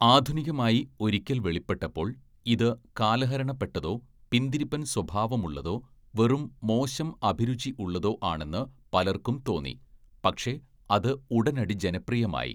ആധുനികമായി ഒരിക്കൽ വെളിപ്പെട്ടപ്പോൾ, ഇത് കാലഹരണപ്പെട്ടതോ, പിന്തിരിപ്പൻ സ്വഭാവമുള്ളതോ, വെറും മോശം അഭിരുചി ഉള്ളതോ ആണെന്ന് പലർക്കും തോന്നി, പക്ഷേ അത് ഉടനടി ജനപ്രിയമായി.